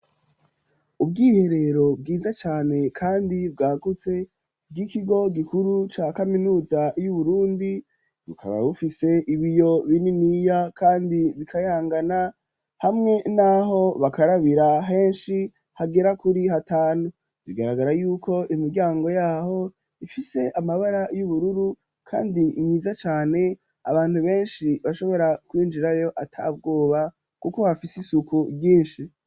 Ubwiherero bwiza cane, kandi bwagutse, bw'ikigo gikuru, ca kaminuza y'Uburundi; bukaba bufise, ibiyo bininiya, kandi bikayangana, hamwe n'aho bakarabira henshi, hagera kuri hatanu; bigaragara y'uko, imiryango y'aho, ifise amabara y'ubururu, kandi myiza cane; abantu benshi, bashobora kwinjirayo, atabwoba, kuko hafise isuku ryinshi.